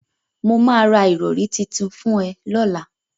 Mo máa ra ìrọ̀rí titun fún ẹ lọ́la.